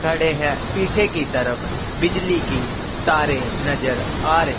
खड़े है पीछे की तरफ बिजली की तारे नजर आ रही।